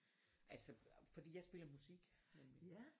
Altså fordi jeg spiller musik nemlig